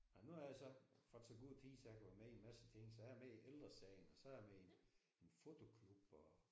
Ej nu har jeg så fået så god tid så jeg kunne være med i en masse ting så jeg er med i Ældre Sagen og så er jeg med i en en fotoklub og